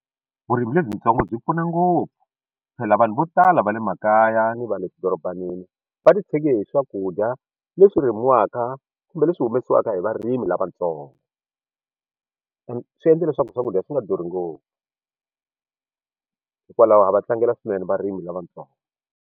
Vurimi lebyitsongo byi pfuna ngopfu phela vanhu vo tala va le makaya ni va le swidorobanini va ti tshege hi swakudya leswi rimiwaka kumbe leswi humesiwaka hi varimi lavatsongo and swi endla leswaku swakudya swi nga durhi ngopfu hikwalaho a va tlangela swinene varimi lavatsongo.